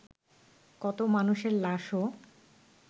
কত মানুষের লাশও